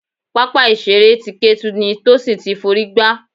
Pápá ìṣeré ti Ketu ni Tosin ti f'orí gbá.